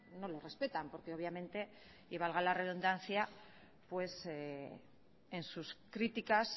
no los respetan porque obviamente y valga la redundancia en sus críticas